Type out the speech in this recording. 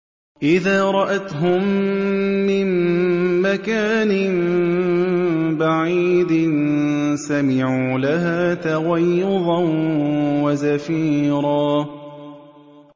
إِذَا رَأَتْهُم مِّن مَّكَانٍ بَعِيدٍ سَمِعُوا لَهَا تَغَيُّظًا وَزَفِيرًا